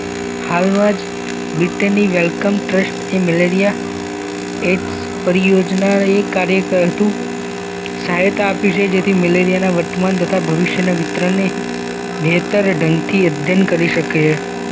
હાલમાં જ બ્રિટેનની વેલકમ ટ્રસ્ટ એ મેલેરિયા એ જ પરિયોજના એ કાર્યકર કરતું સહાયતા આપી છે જેથી મલેરિયાના વર્તમાન તથા ભવિષ્યના વિતરણને બેહતર ઢંગથી અધ્યયન કરી શકે